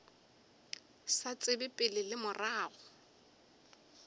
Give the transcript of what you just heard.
sa tsebe pele le morago